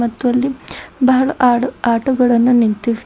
ಮತ್ತು ಅಲ್ಲಿ ಬಹಳ ಆಡ ಆಟೋ ಗಳನ್ನು ನಿಂತಿ--